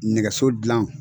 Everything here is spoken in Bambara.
Nɛgɛso dilan